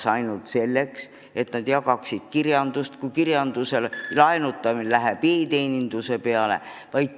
Kas ainult selleks, et nad jagaksid kirjandust, kui kirjanduse laenutamine läheb üle e-teenindusele?